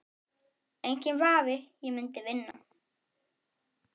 Enginn vafi, ég myndi vinna